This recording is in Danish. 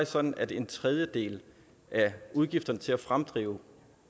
sådan at en tredjedel af udgifterne til at fremdrive